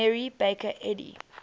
mary baker eddy